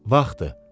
Vaxtdır.